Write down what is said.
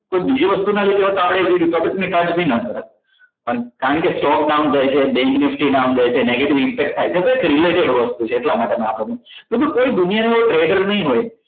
કોઈ બીજી વસ્તુના લીધે હોત તો આપણે ટોપીક નીકાળી નાખોત કારણકે stock down રહે છે bank ની screen down જાય છે negative impact થાય છે એક related વસ્તુ છે એટલા માટે મિત્રો કોઈ દુનિયાનો trigger નહીં હોય